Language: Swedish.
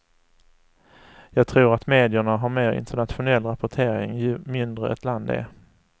Jag tror att medierna har mer internationell rapportering ju mindre ett land är.